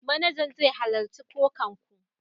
Manajan zai halarci kokan ku.